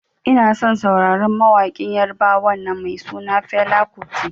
Inason sauraron mawaƙin yarbawan nan mai suna Fela kuti.